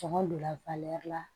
Sɔngɔ donna la